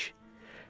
İyun ayıymış.